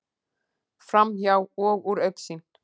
Framhjá og úr augsýn.